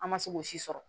An ma se k'o si sɔrɔ